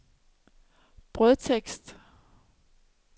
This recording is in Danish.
brødtekst